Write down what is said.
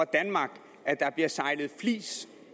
danmark at der bliver sejlet flis